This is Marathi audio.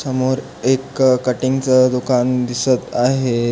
समोर एक कटिंग च दुकान दिसत आहे.